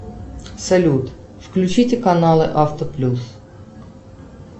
салют включите каналы авто плюс